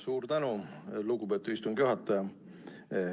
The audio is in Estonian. Suur tänu, lugupeetud istungi juhataja!